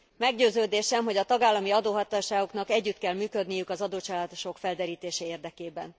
Meggyőződésem, hogy a tagállami adóhatóságoknak együtt kell működniük az adócsalások felderítése érdekében.